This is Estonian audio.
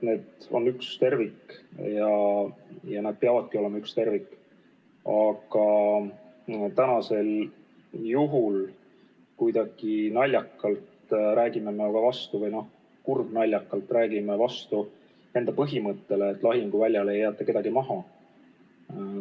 Need on üks tervik ja need peavadki olema üks tervik, aga täna me räägime kuidagi naljakalt või kurbnaljakalt vastu enda põhimõttele, et lahinguväljale ei jäeta kedagi maha.